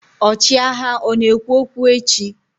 ọchịagha ọ na-ekwu okwu echi?